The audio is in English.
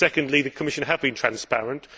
Secondly, the Commission has been transparent.